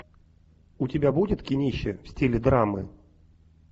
у тебя будет кинище в стиле драмы